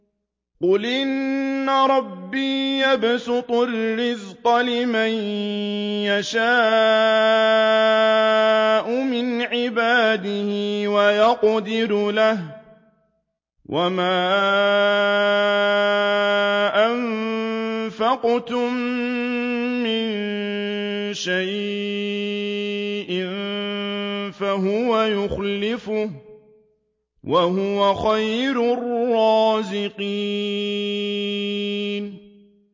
قُلْ إِنَّ رَبِّي يَبْسُطُ الرِّزْقَ لِمَن يَشَاءُ مِنْ عِبَادِهِ وَيَقْدِرُ لَهُ ۚ وَمَا أَنفَقْتُم مِّن شَيْءٍ فَهُوَ يُخْلِفُهُ ۖ وَهُوَ خَيْرُ الرَّازِقِينَ